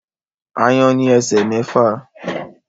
Aáyán ní esè mẹfa